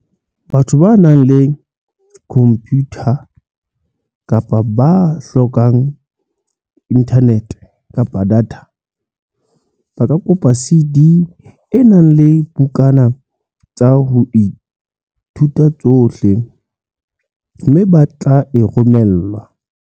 Batho ba nang le khompiyutha empa ba hloka inthanete kapa data, ba ka kopa CD e nang le dibukana tsa ho ithuta tsohle, mme ba tle e romellwa.